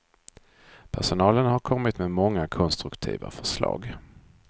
Personalen har kommit med många konstruktiva förslag.